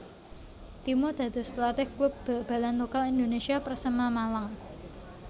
Timo dados pelatih klub bal balan lokal Indonesia Persema Malang